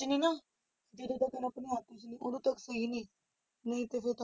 ਮੈਨੂੰ ਨਾ ਜਦੋਂ ਤੱਕ ਉਦੋਂ ਤੱਕ ਸਹੀ ਨੇ ਨਹੀਂ ਤੇ ਫਿਰ